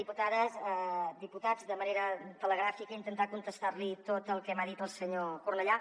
diputades diputats de manera telegràfica intentar contestar li tot el que m’ha dit el senyor cornellà